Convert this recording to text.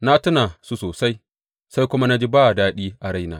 Na tuna su sosai, sai kuma na ji ba daɗi a raina.